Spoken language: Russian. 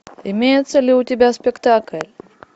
имеется ли у тебя спектакль